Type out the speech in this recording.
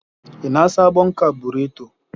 ina sabon kabureto.